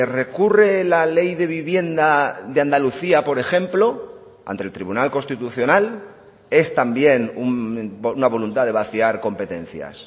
recurre la ley de vivienda de andalucía por ejemplo ante el tribunal constitucional es también una voluntad de vaciar competencias